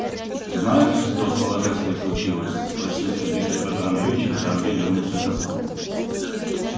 знаешь что с полажевской случилось спросил сердито пётр андреевич когда андрей вернулся к костру